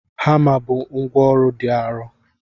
Hama bụ ngwá ọrụ dị arọ.